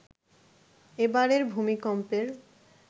এ বারের ভূমিকম্পের